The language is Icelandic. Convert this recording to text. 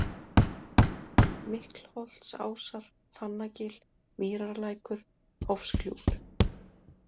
Miklholtsásar, Fannagil, Mýrarlækur, Hofsgljúfur